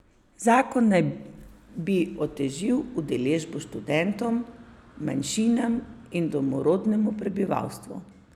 Zakon naj bi otežil udeležbo študentom, manjšinam in domorodnemu prebivalstvu.